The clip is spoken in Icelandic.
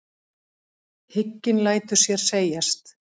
Hygginn lætur sér segjast.